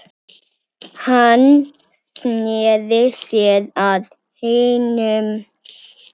Hann sneri sér að hinum.